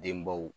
Denbaw